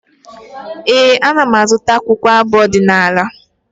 Ee, ana m azụta akwụkwọ abụ ọdịnaala.